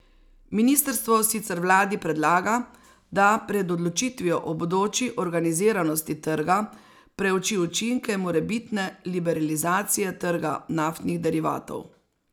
Ministrstvo sicer vladi predlaga, da pred odločitvijo o bodoči organiziranosti trga preuči učinke morebitne liberalizacije trga naftnih derivatov.